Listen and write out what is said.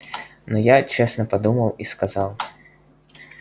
но я честно подумал и сказал